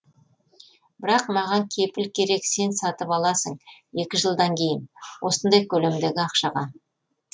бірақ маған кепіл керек сен сатып аласың екі жылдан кейін осындай көлемдегі ақшаға